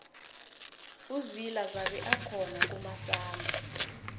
uzila zabe akhona kumasama